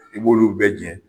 I b'olu bɛ jɛ